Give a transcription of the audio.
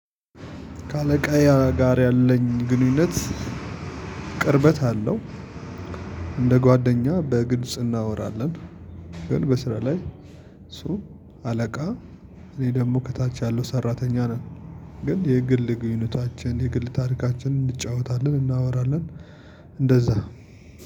ከአለቃዬ ጋር ያለኝ ግንኙነት ቅርበት አለው። እንደ ጓደኛ በግልጽ እናወራለን። ግን በስራ ላይ እሱ አለቃ እኔ ደግሞ ከታች ያለው ሰራተኛ ነን። ግን የግል ግኑኝታችን የግል ታሪካችንን እንጫወታለን እናወራለን። እንደዛ